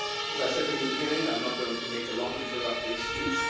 As I said in the beginning, I am not going to make a long introductory speech